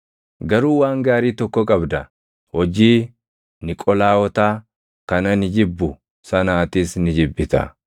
Garuu waan gaarii tokko qabda: Hojii Niqolaawotaa kan ani jibbu sana atis ni jibbita.